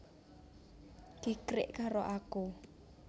Kikrik karo aku